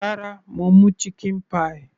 Rárá, mo mú chicken pie.